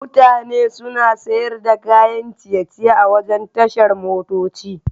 Mutane suna sayar da kayan ciye-ciye a wurin tashar motoci.